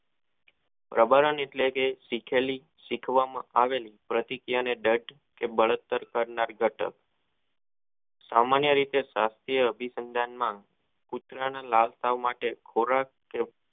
પ્રભારણ એટલે શીખેલી સીખવામાં આવેલી પ્રતિક્રિયા ને દઢ કે બળતર કરનાર ઘટક સામાન્ય રીતે ઘાતીય સંધાન માં કૂતરાને લાલ થવા માટે ખોરાક કે